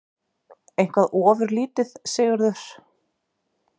Eitthvað ofurlítið, Sigurður?